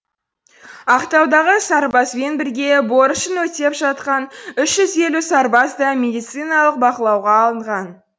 ақтаудағы сарбазбен бірге борышын өтеп жатқан үш жүз елу сарбаз да медициналық бақылауға алынған